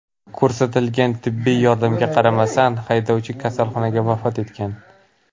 Ko‘rsatilgan tibbiy yordamga qaramasdan, haydovchi kasalxonada vafot etgan.